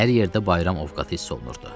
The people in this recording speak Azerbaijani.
Hər yerdə bayram ovqatı hiss olunurdu.